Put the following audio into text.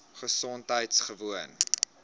gesondheidgewoon